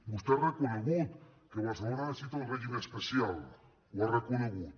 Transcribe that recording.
vostè ha reconegut que barcelona necessita un règim especial ho ha reconegut